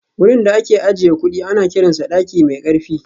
Wurin da ake ajiye kudi ana kiransa daki mai karfi